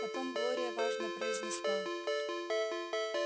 потом глория важно произнесла